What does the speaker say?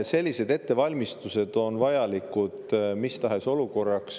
Sellised ettevalmistused on vajalikud mis tahes olukorraks.